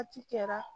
Waati kɛra